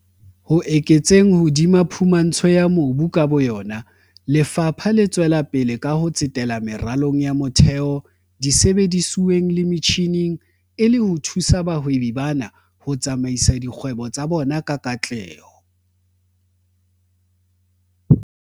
Ho eketseng hodima phumantsho ya mobu ka bo yona, Lefapha le tswelapele ka ho tsetela meralong ya motheo, disebedisuweng le metjhineng e le ho thusa bahwebi bana ho tsamaisa dikgwebo tsa bona ka katleho.